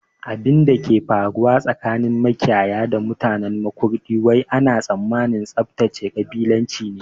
Abinda ke faruwa tsakanin makiyaya da mutanen Makurdi wai ana tsammanin tsaftace kabilanci ne